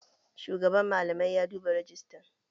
Shugaban malamai ya duba rejistan